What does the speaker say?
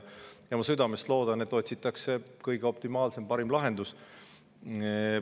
Ma südamest loodan, et otsitakse kõige optimaalsem, parim lahendus.